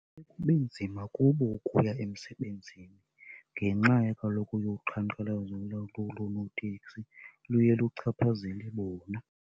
Kube nzima kubo ukuya emsebenzini ngenxa kaloku yoqhankqalazo lolu loonoteksi. Luye luchaphazele bona.